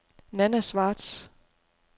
Nanna Schwartz